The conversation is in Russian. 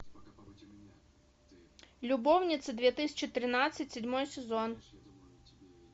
любовницы две тысячи тринадцать седьмой сезон